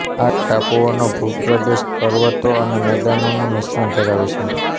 આ ટાપુઓનો ભૂપ્રદેશ પર્વતો અને મેદાનોનું મિશ્રણ ધરાવે છે